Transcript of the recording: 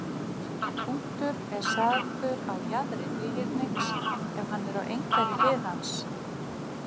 Punktur er sagður á jaðri þríhyrnings, ef hann er á einhverri hlið hans.